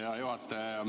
Hea juhataja!